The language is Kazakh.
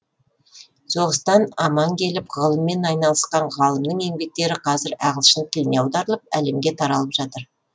соғыстан аман келіп ғылыммен айналысқан ғалымның еңбектері қазір ағылшын тіліне аударылып әлемге таралып жатыр